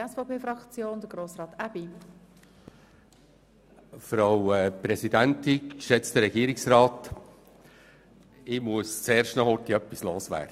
Bevor ich auf die einzelnen Planungserklärungen zu sprechen komme, muss ich kurz etwas loswerden.